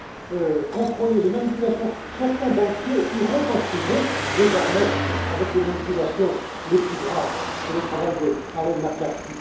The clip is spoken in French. de marché le contrôle des manipulations certains banquiers iront en prison désormais pour les manipulations les plus graves c'est le travail d'Arlene